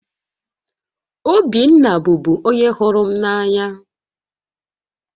Obinna bụbu onye hụrụ m n'anya